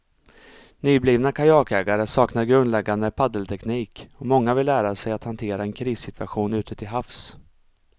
Nyblivna kajakägare saknar grundläggande paddelteknik och många vill lära sig att hantera en krissituation ute till havs.